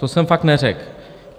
To jsem fakt neřekl.